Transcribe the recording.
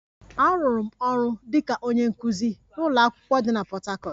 Arụrụ m ọrụ dị ka onye nkuzi n'ụlọ akwụkwọ dị na Port Harcourt